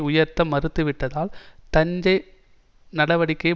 உயர்த்த மறுத்து விட்டதால் தஞ்ச நடவடிக்கைகள்